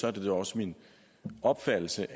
er det da også min opfattelse